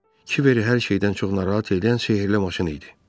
Kiveri hər şeydən çox narahat edən sehirli maşını idi.